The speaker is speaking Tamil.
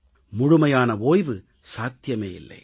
முழுமையான ஓய்வு சாத்தியமே இல்லை